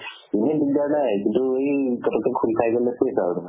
এনে দিগ্দাৰ নাই কিন্তু এই খোল খাই গলে হৈছে আৰু তোমাৰ